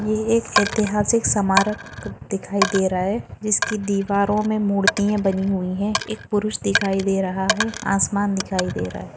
ये एक ऐतिहासिक समारक दिखाई दे रहा है जिसकी दीवारों मे मूर्ति ये बनी हुई है एक पुरुष दिखाई दे रहा है आसमान दिखाई दे रहा है।